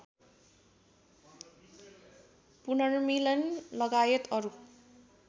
पुनर्मिलन लगायत अरू